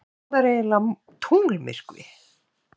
En hvað er eiginlega tunglmyrkvi?